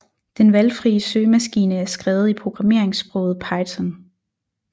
Den valgfrie søgemaskine er skrevet i programmeringssproget Python